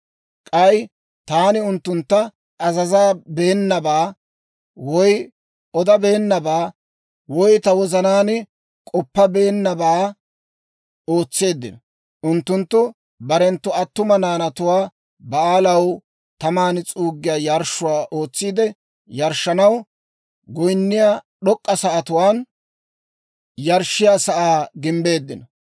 K'ay taani unttuntta azazabeenabaa, woy odabeennabaa, woy ta wozanaan k'oppabeennabaa ootseeddino; unttunttu barenttu attuma naanatuwaa Ba'aalaw taman s'uuggiyaa yarshshuwaa ootsiide yarshshanaw, goyinniyaa d'ok'k'a sa'atuwaan yarshshiyaa sa'aa gimbbeeddino.